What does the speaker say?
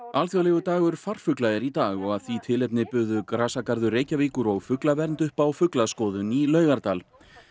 alþjóðlegur dagur farfugla er í dag og af því tilefni buðu grasagarður Reykjavíkur og fuglavernd upp á fuglaskoðun í Laugardal